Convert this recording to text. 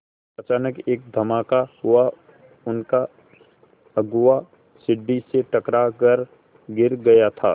अचानक एक धमाका हुआ उनका अगुआ सीढ़ी से टकरा कर गिर गया था